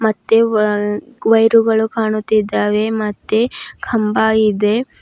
ಮತ್ತೆ ವ ವೈರು ಗಳು ಕಾಣುತ್ತಿದ್ದಾರೆ ಮತ್ತೆ ಕಂಬ ಇದೆ.